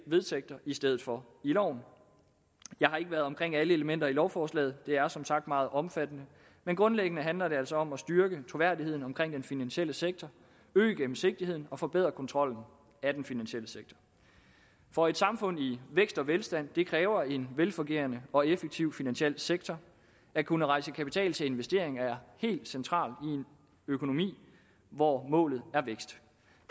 vedtægter i stedet for i loven jeg har ikke været omkring alle elementer i lovforslaget det er som sagt meget omfattende men grundlæggende handler det altså om at styrke troværdigheden omkring den finansielle sektor øge gennemsigtigheden og forbedre kontrollen af den finansielle sektor for et samfund i vækst og velstand kræver en velfungerende og effektiv finansiel sektor at kunne rejse kapital til investeringer er helt centralt i en økonomi hvor målet er vækst